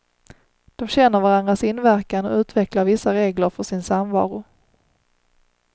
De känner varandras inverkan och utvecklar vissa regler för sin samvaro.